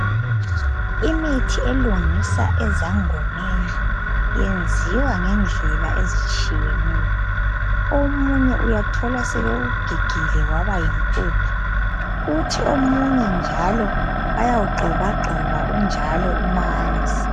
Imithi elungisa ezangomengi yenziwa ngendlela ezitshiyeneyo omunye uyathola sebewugigile waba yimpuphu uthi omunye njalo bayawugxobagxoba njalo umanzi.